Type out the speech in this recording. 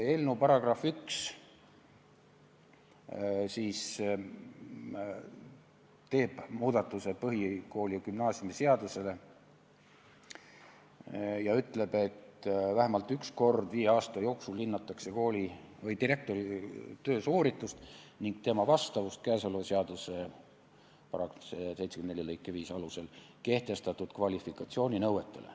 Eelnõu § 1 teeb muudatuse põhikooli- ja gümnaasiumiseaduses ning ütleb: "Vähemalt üks kord viie aasta jooksul hinnatakse direktori töösooritust ning tema vastavust käesoleva seaduse § 74 lõike 5 alusel kehtestatud kvalifikatsiooninõuetele.